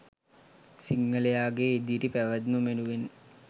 සිංහලයාගේ ඉදිරි පැවැත්ම වෙනුවෙන්.